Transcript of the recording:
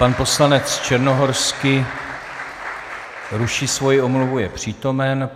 Pan poslanec Černohorský ruší svoji omluvu, je přítomen.